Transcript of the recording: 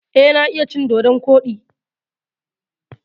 Eh, na iya cin dodon koɗi.